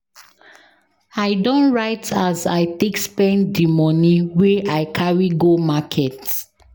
I don write as I take spend di moni wey I carry go market.